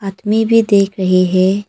मैं भी देख रहे है।